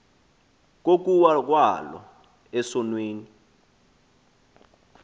kokuwa kwalo esonweni